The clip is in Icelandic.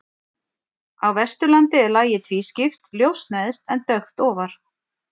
Á Vesturlandi er lagið tvískipt, ljóst neðst en dökkt ofar.